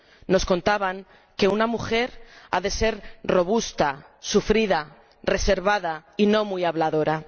Nos contaban que una mujer ha de ser robusta, sufrida, reservada y no muy habladora.